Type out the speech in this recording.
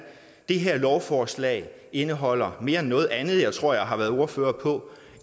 det her lovforslag indeholder mere end noget andet jeg tror jeg har været ordfører på